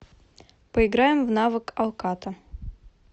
поиграем в навык алкато